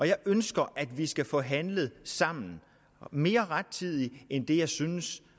jeg ønsker at vi skal få handlet sammen mere rettidigt end det jeg synes